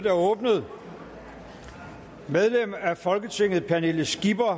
er åbnet medlemmer af folketinget pernille skipper